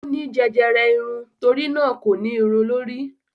ó ní jẹjẹrẹ irun, torínà kò ní irun lórí.